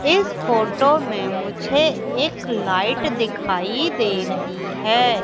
इस फोटो में मुझे एक लाइट दिखाई दे रही है।